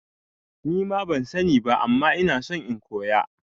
Nima ban sani ba ama ina son in koya